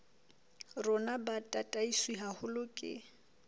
rona bo tataiswe haholo ke